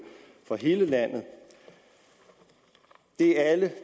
for hele landet det er alle